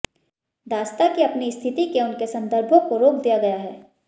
दासता की अपनी स्थिति के उनके संदर्भों को रोक दिया गया है